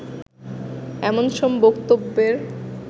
এমন সব বক্তব্যের